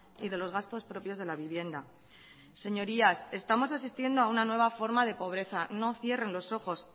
y de los gastos propios de la vivienda señorías estamos asistiendo a una nueva forma de pobreza no cierren los ojos